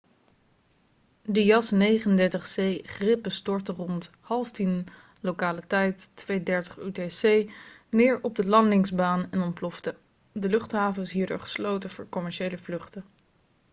de jas 39c gripen stortte rond 09.30 uur lokale tijd 02.30 utc neer op de landingsbaan en ontplofte. de luchthaven is hierdoor gesloten voor commerciële vluchten